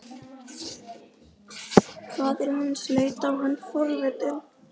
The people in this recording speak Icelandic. Faðir hans leit á hann forvitinn.